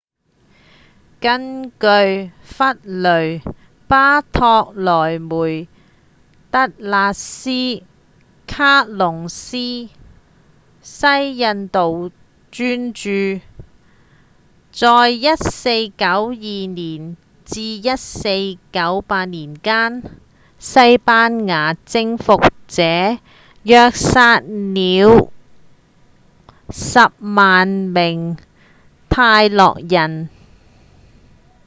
根據《弗雷·巴托洛梅·德拉斯·卡薩斯》西印度專著在1492年至1498年間西班牙征服者約殺了 100,000 名泰諾人